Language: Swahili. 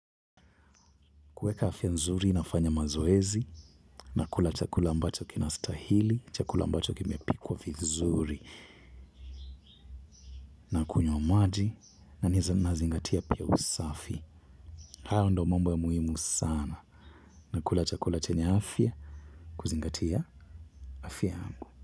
Kueka afya nzuri nafanya mazoezi nakula chakula ambaaccho kjniashathili chakula ambacjo kimepikwa vizuri nakunywa maji na pia nazingayia usagi. Hayo ndo mambo ya muhimu sana nakula chakula chenye afya kuzingatia afya yangu.